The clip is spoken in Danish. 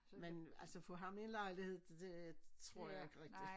Men altså få ham i en lejlighed det tror jeg ikke rigtig